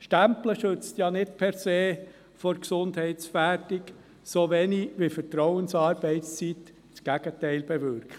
Stempeln schützt nicht per se vor einer Gesundheitsgefährdung, so wenig wie Vertrauensarbeitszeit das Gegenteil bewirkt.